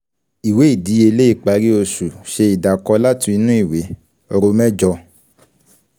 Ìwé ìdíyelé ìparí oṣù ṣe ìdàkọ́ láti inú ìwé; ro mẹjọ.